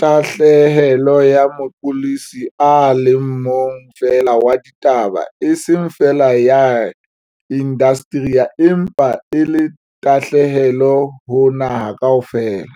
tahlehelo ya moqolosi a le mong feela wa ditaba eseng feela ya indasteri empa e le tahlehelo ho naha kaofela.